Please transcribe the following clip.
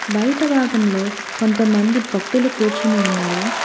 బయట భాగంలో కొంతమంది భక్తులు కూర్చుని ఉన్నారు.